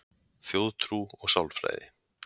Þjóðtrú og sálfræði